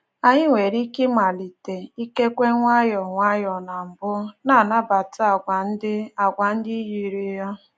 Anyị nwere ike ịmalite — ikekwe nwayọọ nwayọọ na mbụ — na-anabata àgwà ndị àgwà ndị yiri ya